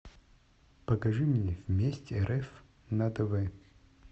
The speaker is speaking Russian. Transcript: покажи мне вместе рф на тв